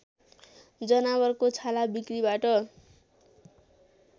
जनावरको छाला बिक्रीबाट